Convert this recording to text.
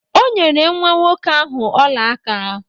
O nyere nwa nwoke ahụ ọla aka.